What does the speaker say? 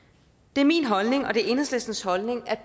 det er min holdning og det er enhedslistens holdning